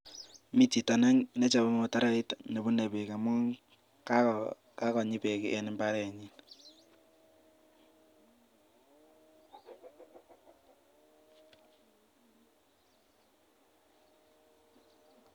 Mi chito nechope mutaroit nebune beek amun kakonyii beek eng imbarenyin.